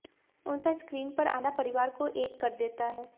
उनका स्क्रीन पर आना परिवार को एक कर देता है